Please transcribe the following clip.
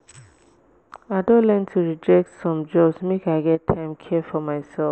i don learn to reject some jobs make i get time care for mysef.